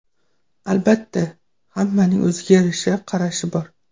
Albatta, hammaning o‘ziga yarasha qarashi bor.